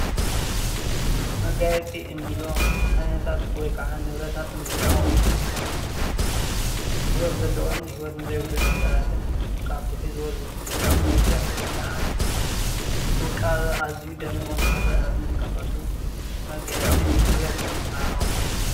መጋየፂ እንብሎ ዓይነታት ወይ ከዓ ንብረታት ኣቅሑ እንትኮኑ ፣ ሂወት ዘለዎን ሂወት ንዘይብሉን ነገራትን ካብቲ ሒዝዎ ዝፀንሐ መልክዕ ወይ ከዓ ውቃበ ኣዝዩ ደሚቁ ንክረአ እንጥቀመሉ መጋየፂን ንብረት ወይ ከዓ ኣቅሑ እዩ፡፡